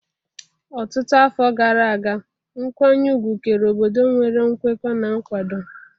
Ọtụtụ afọ gara aga, nkwanye ùgwù kere obodo nwere nkwekọ na nkwado.